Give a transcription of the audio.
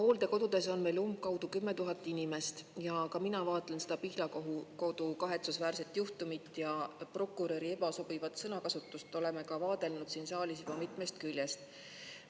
Hooldekodudes on meil umbkaudu 10 000 inimest ja ka mina vaatan seda Pihlakodu kahetsusväärset juhtumit ja prokuröri ebasobivat sõnakasutust oleme ka vaadelnud siin saalis juba mitmest küljest.